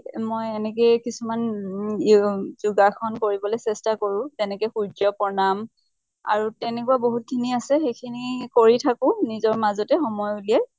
মই এনেকে কিছুমান য় অ যোগাসন কৰিবলৈ চেষ্টা কৰোঁ । তেনেকে সূৰ্য্য় প্ৰনাম আৰু তেনেকুৱা বহুত খিনি আছে, সেইখিনি কৰি থাকো, নিজৰ মাজতে সময় উলিয়াই ।